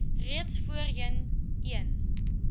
reeds voorheen een